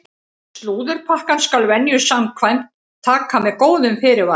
Slúðurpakkann skal venju samkvæmt taka með góðum fyrirvara!